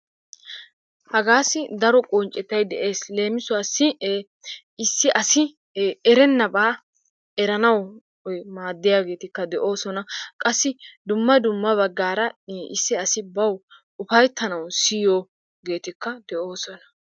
Hagaassi daro qonccetay de'ees. leemiisuwassi issi asi erenaba eranawu maadiyabatikka de'oosona. qasi dumma dumma bagaara ii issi asi bawu ufaytanawu siyiyoogeetikka de'oosona.